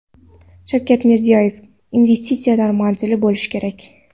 Shavkat Mirziyoyev: Investitsiyalar manzilli bo‘lishi kerak.